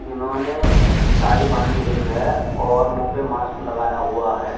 इन्होंने साड़ी बांधी हुई है और मुंह पे मास्क लगाया हुआ है।